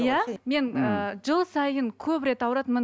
иә мен ы жыл сайын көп рет ауыратынмын